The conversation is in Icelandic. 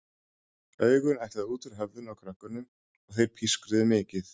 Augun ætluðu út úr höfðinu á krökkunum og þeir pískruðu mikið.